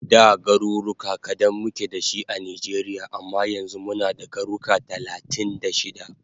Da garuruka kadan muke dashi a Nijeria amma yanzu muna da garuka talatin da shida